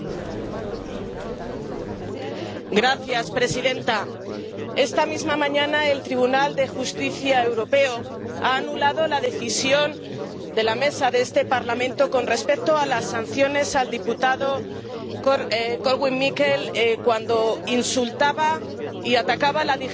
Señora presidenta, esta misma mañana el Tribunal de Justicia Europeo ha anulado la decisión de la Mesa de este Parlamento con respecto a las sanciones al diputado Korwin Mikke por insultar y atacar a la dignidad de las mujeres